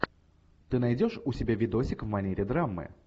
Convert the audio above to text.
ты найдешь у себя видосик в манере драмы